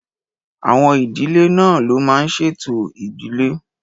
Àwọn ìdílé náà ló máa n ṣe ètò ìdílé